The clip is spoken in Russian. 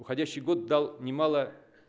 уходящий год дал немало